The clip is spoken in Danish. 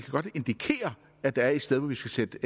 godt indikere at der er et sted hvor vi skal sætte